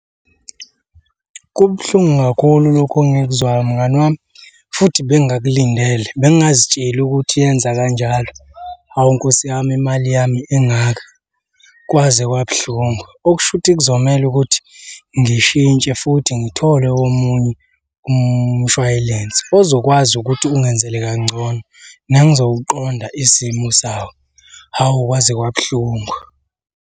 Kubuhlungu kakhulu lokhu engikuzwayo mngani wami, futhi bengingakulindele. Bengingazitsheli ukuthi yenza kanjalo. Hhawu Nkosi yami imali yami engaka, kwaze kwabuhlungu. Okusho ukuthi kuzomele ukuthi ngishintshe futhi ngithole omunye umshwayilense ozokwazi ukuthi ungenzele kangcono nengizowuqonda isimo sawo, hawu kwaze kwabuhlungu.